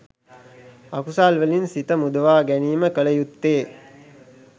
අකුසල් වලින් සිත මුදවා ගැනීම කළ යුත්තේ